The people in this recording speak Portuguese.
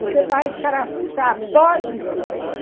Você vai escarafujar, pode ser que você